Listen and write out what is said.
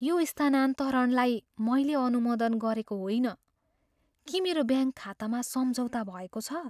यो स्थानान्तरणलाई मैले अनुमोदन गरेको होइन। के मेरो ब्याङ्क खातामा सम्झौता भएको छ?